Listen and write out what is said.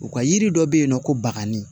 U ka yiri dɔ bɛ yen nɔ ko baganni